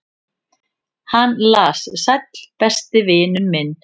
"""Hann las: Sæll, besti vinur minn."""